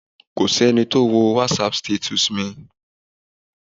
Kò sẹ́ni tó wo wásap stetùs mi.